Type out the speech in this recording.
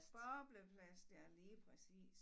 Bobleplast ja lige præcis